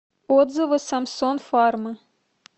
отзывы самсон фарма